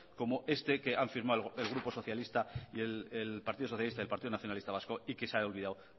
como este que han firmado el partido socialista y partido nacionalista vasco y que se ha olvidado